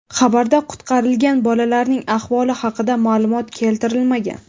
Xabarda qutqarilgan bolalarning ahvoli haqida ma’lumot keltirilmagan.